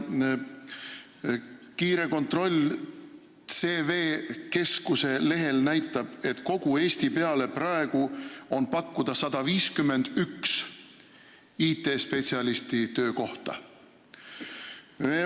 Kiire kontroll CV Keskuse lehel näitas, et kogu Eesti peale on praegu pakkuda 151 IT-spetsialisti töökohta.